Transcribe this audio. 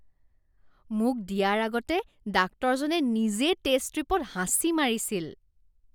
মোক দিয়াৰ আগতে ডাক্তৰজনে নিজে টেষ্ট ষ্ট্ৰিপত হাঁচি মাৰিছিল।